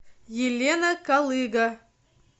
елена колыга